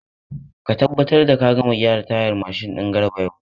Ka tabbatar da ka gama gyaran tayar mashin din Garba yau!